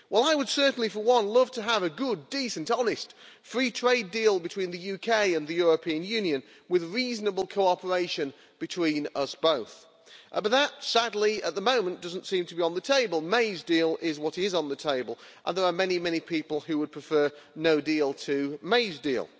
Well, I would certainly, for one, love to have a good, decent, honest, free trade deal between the UK and the European Union with reasonable cooperation between us both, but that sadly, at the moment, doesn't seem to be on the table. Ms May's deal is what is on the table, and there are many people who would prefer no deal to May's deal.